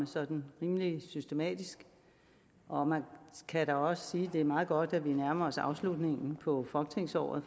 sådan rimelig systematisk og man kan også sige at det er meget godt at vi nærmer os afslutningen på folketingsåret